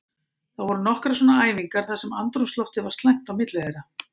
Það voru nokkrar svona æfingar þar sem andrúmsloftið var slæmt á milli þeirra.